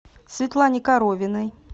светлане коровиной